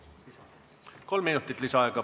Saate kolm minutit lisaaega.